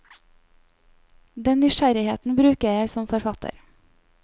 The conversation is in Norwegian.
Den nysgjerrigheten bruker jeg som forfatter.